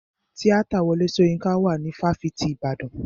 Tíátà Wọlé Soyinka wà ní fáfitì ìbàdàn.